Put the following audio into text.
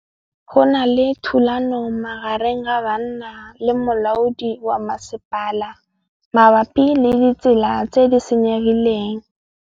Go na le thulanô magareng ga banna le molaodi wa masepala mabapi le ditsela tse di senyegileng.